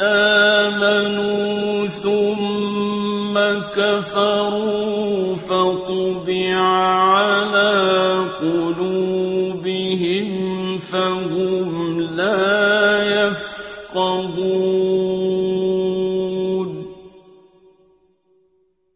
آمَنُوا ثُمَّ كَفَرُوا فَطُبِعَ عَلَىٰ قُلُوبِهِمْ فَهُمْ لَا يَفْقَهُونَ